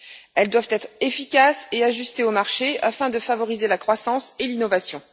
Elles doivent être efficaces et ajustées au marché, afin de favoriser la croissance et l'innovation.